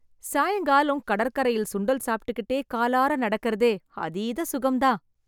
சாயங்காலம் கடற்கரையில் சுண்டல் சாப்பிட்டுக்கிட்டே காலார நடக்கறதே அதீத சுகம் தான்.